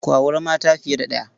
Ku auri mata fiye da ɗaya.